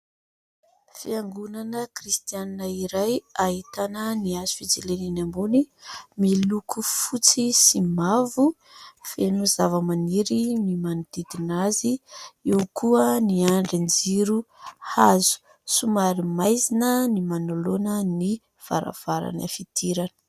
Fiangonana Kristianina iray ahitana ny hazo fijalianany ambony miloko fotsy sy mavo, feno zavamaniry ny manodidina azy, eo koa ny andrin-jiro hazo ; somary maizina ny manoloana ny varavarana fidirana.